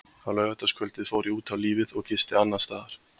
Á laugardagskvöldið fór ég út á lífið og gisti annarsstaðar.